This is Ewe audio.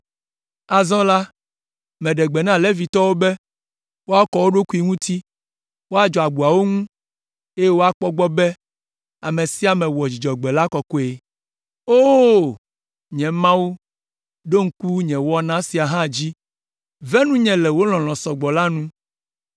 Azɔ la, meɖe gbe na Levitɔwo be woakɔ wo ɖokui ŋuti, woadzɔ agboawo ŋu, eye woakpɔ egbɔ be ame sia ame wɔ Dzudzɔgbe la kɔkɔe. O! Nye Mawu, ɖo ŋku nye wɔna sia hã dzi! Ve nunye le wò lɔlɔ̃ sɔ gbɔ la nu.